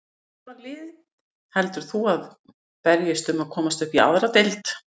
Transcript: Hvaða lið heldur þú að verði að berjast um að komast upp í aðra deild?